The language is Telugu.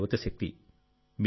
అదే మన యువత శక్తి